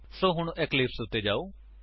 ਸੋ ਹੁਣ ਇਕਲਿਪਸ ਉੱਤੇ ਜਾਓ